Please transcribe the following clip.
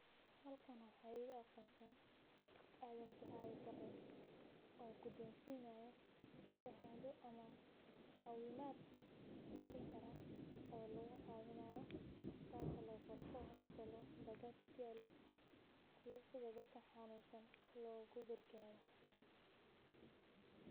Halkan waxaa iiga aqonsan adan duale bare oo gudonsinayi isbitalka embakasi kuyaalo si dadka xanuunsan loogu gargaaro.